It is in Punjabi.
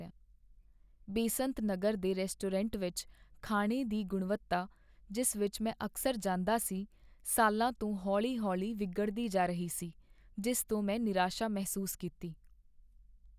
ਬੇਸੰਤ ਨਗਰ ਦੇ ਰੈਸਟੋਰੈਂਟ ਵਿਚ ਖਾਣੇ ਦੀ ਗੁਣਵੱਤਾ, ਜਿਸ ਵਿਚ ਮੈਂ ਅਕਸਰ ਜਾਂਦਾ ਸੀ, ਸਾਲਾਂ ਤੋਂ ਹੌਲੀ ਹੌਲੀ ਵਿਗੜਦੀ ਜਾ ਰਹੀ ਸੀ, ਜਿਸ ਤੋਂ ਮੈਂ ਨਿਰਾਸ਼ਾ ਮਹਿਸੂਸ ਕੀਤੀ